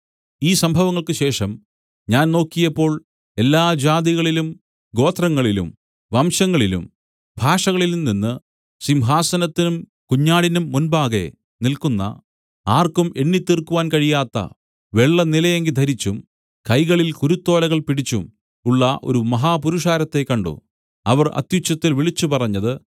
ഈ സംഭവങ്ങൾക്കുശേഷം ഞാൻ നോക്കിയപ്പോൾ എല്ലാ ജാതികളിലും ഗോത്രങ്ങളിലും വംശങ്ങളിലും ഭാഷകളിലുംനിന്ന് സിംഹാസനത്തിനും കുഞ്ഞാടിനും മുമ്പാകെ നില്ക്കുന്ന ആർക്കും എണ്ണിത്തീർക്കുവാൻ കഴിയാത്ത വെള്ളനിലയങ്കി ധരിച്ചും കൈകളിൽ കുരുത്തോലകൾ പിടിച്ചും ഉള്ള ഒരു മഹാപുരുഷാരത്തെ കണ്ട് അവർ അത്യുച്ചത്തിൽ വിളിച്ചുപറഞ്ഞത്